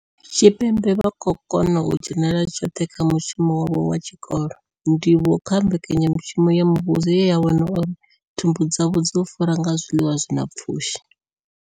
Tshipembe vha khou kona u dzhenela tshoṱhe kha mushumo wavho wa tshikolo, ndivhuwo kha mbekanya mushumo ya muvhuso ye ya vhona uri thumbu dzavho dzo fura nga zwiḽiwa zwi na pfushi.